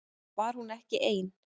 Var hún ekki ein?